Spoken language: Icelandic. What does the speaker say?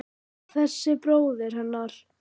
Þessi bróðir hennar!